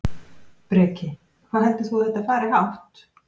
Breki: Hvað heldur þú að þetta fari hátt?